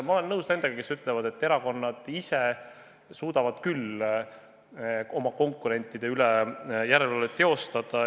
Ma olen nõus nendega, kes ütlevad, et erakonnad ise suudavad küll oma konkurentide üle järelevalvet teostada.